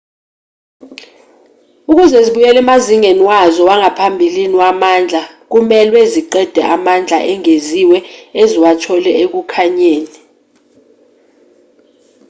ukuze zibuyele emazingeni wazo wangaphambili wamandla kumelwe ziqede amandla engeziwe eziwathole ekukhanyeni